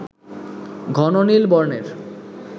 ঘন নীল বর্ণের